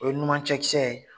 O ye numan cɛkisɛ ye